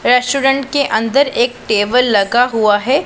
Restaurant के अंदर एक टेबल लगा हुआ हैं।